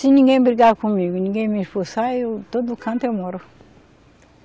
Se ninguém brigar comigo, ninguém me expulsar, eu todo canto eu moro.